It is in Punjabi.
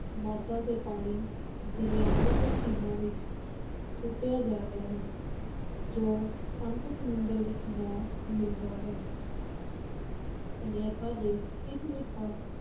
ਮਾਦਾ ਤੇ ਪਾਣੀ ਦਰਿਆਵਾਂ ਤੇ ਝੀਲਾਂ ਵਿੱਚ ਸੁੱਟਿਆ ਜਾ ਰਿਹਾ ਹੈ, ਜੋ ਅੰਤ ਸਮੁੰਦਰ ਵਿਚ ਜਾ ਮਿਲਦਾ ਹੈ ਸਨਅੱਤਾਂ ਦੇ ਇਸ ਨਿਕਾਸ